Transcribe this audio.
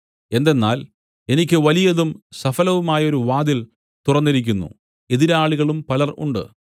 എന്തെന്നാൽ എനിക്ക് വലിയതും സഫലവുമായൊരു വാതിൽ തുറന്നിരിക്കുന്നു എതിരാളികളും പലർ ഉണ്ട്